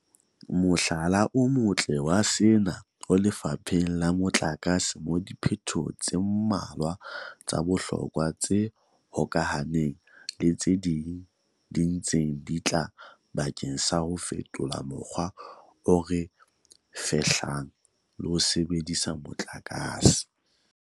Mohlala o motle wa sena o lefapheng la motlakase moo diphetoho tse mmalwa tsa bohlokwa tse hokahaneng le tse ding di ntseng di tla bakeng sa ho fetola mokgwa o re fehlang le ho sebedisa motlakase.